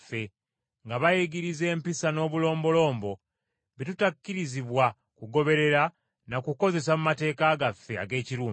nga bayigiriza empisa n’obulombolombo bye tutakkirizibwa kugoberera na kukozesa mu mateeka gaffe ag’Ekiruumi.”